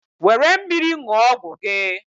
were mmiri ṅụọ ọgwụ gị.